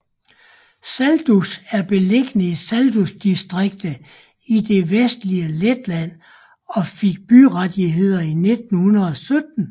Saldus er beliggende i Saldus distrikt i det vestlige Letland og fik byrettigheder i 1917